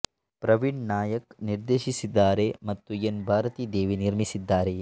ಪ್ರವೀಣ್ ನಾಯಕ್ ನಿರ್ದೇಶಿಸಿದ್ದಾರೆ ಮತ್ತು ಎನ್ ಭಾರತಿ ದೇವಿ ನಿರ್ಮಿಸಿದ್ದಾರೆ